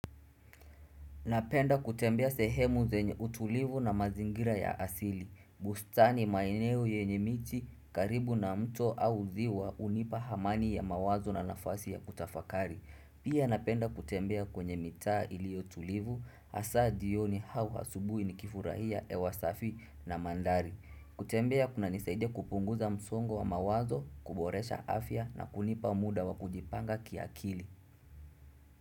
Napenda kutembea sehemu zenye utulivu na mazingira ya asili. Bustani maeneo yenye miti karibu na mto au ziwa hunipa amani ya mawazo na nafasi ya kutafakari. Pia napenda kutembea kwenye mitaa iliyo tulivu hasaa jioni au asubuhi nikifurahia hewa safi na mandhari. Kutembea kunanisaidia kupunguza msongo wa mawazo, kuboresha afya na kunipa muda wa kujipanga kiakili.